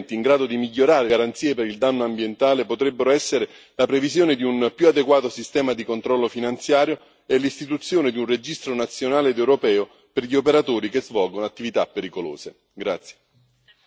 Infine ulteriori elementi in grado di migliorare il quadro delle garanzie per il danno ambientale potrebbero essere la previsione di un più adeguato sistema di controllo finanziario e l'istituzione di un registro nazionale ed europeo per gli operatori che svolgono attività pericolose.